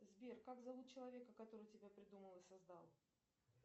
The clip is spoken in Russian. сбер как зовут человека который тебя придумал и создал